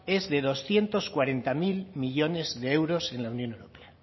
es de doscientos cuarenta mil millónes de euros en la unión europea